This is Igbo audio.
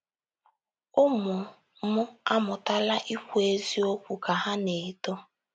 “ Ụmụ m amụtala ikwu eziokwu ka ha na -- eto.